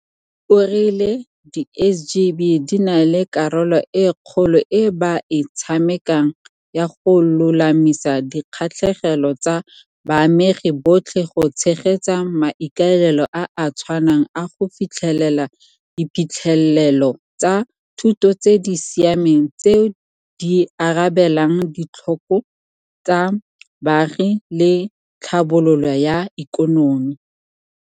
O rile di SGB di na le karolo e kgolo e ba e tshamekang ya go lolamisa dikgatlhegelo tsa baamegi botlhe go tshegetsa maikaelelo a a tshwanang a go fitlhelela diphitlhelelo tsa thuto tse di siameng tseo di arabelang ditlhoko tsa baagi le tlhabololo ya ikonomi.